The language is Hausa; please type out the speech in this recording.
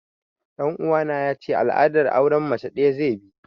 Ɗan uwana ya ce al'adar auren mace ɗaya zai bi